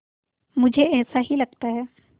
मुझे ऐसा ही लगता है